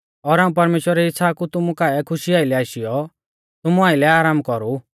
और हाऊं परमेश्‍वरा री इच़्छ़ा कु तुमु काऐ खुशी आइलै आशीयौ तुमु आइलै आराम कौरु